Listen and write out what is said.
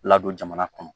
Ladon jamana kɔnɔ